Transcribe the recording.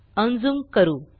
unzoom करू